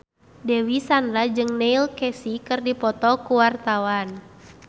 Dewi Sandra jeung Neil Casey keur dipoto ku wartawan